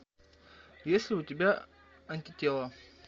есть ли у тебя антитело